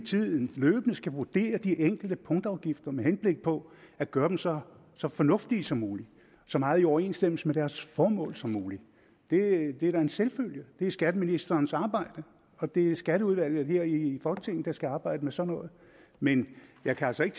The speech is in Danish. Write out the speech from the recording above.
tiden løbende skal vurdere de enkelte punktafgifter med henblik på at gøre dem så så fornuftige som muligt så meget i overensstemmelse med deres formål som muligt det er da en selvfølge det er skatteministerens arbejde og det er skatteudvalget her i folketinget der skal arbejde med sådan noget men jeg kan altså ikke